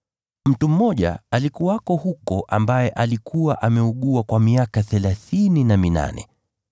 Mtu mmoja alikuwako huko ambaye alikuwa ameugua kwa miaka thelathini na minane.